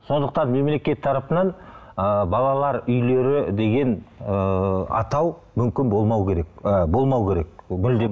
сондықтан мемелекет тарапынан ы балалар үйлері деген ы атау мүмкін болмау керек ы болмауы керек мүлдем